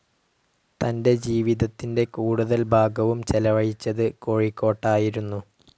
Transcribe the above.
തന്റെ ജീവിതത്തിന്റെ കൂടുതൽ ഭാഗവും ചെലവഴിച്ചത് കോഴിക്കോട്ടായിരുന്നു.